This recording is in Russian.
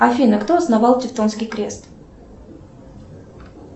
афина кто основал тевтонский крест